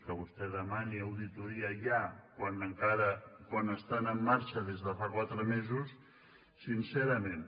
que vostè demani auditoria ja quan estan en marxa des de fa quatre mesos sincerament